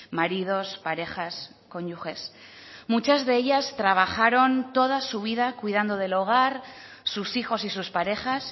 maridos parejas cónyuges muchas de ellas trabajaron toda su vida cuidando del hogar sus hijos y sus parejas